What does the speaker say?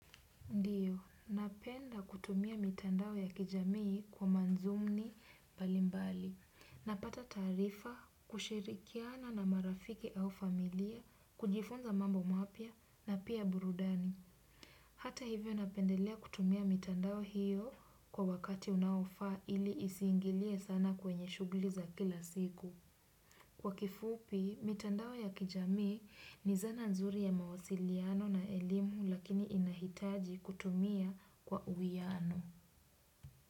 Napenda kutumia mitandao ya kijamii kwa madhumun mbali mbali. Napata taarifa kushirikiana na marafiki au familia, kujifunza mambo mapya na pia burudani. Hata hivyo napendelea kutumia mitandao hio kwa wakati unaofaa ili isiingilie sana kwenye shughuli za kila siku. Kwa kifupi, mitandao ya kijamii, ni dhana nzuri ya mawasiliano na elimu lakini inahitaji kutumia kwa uiano.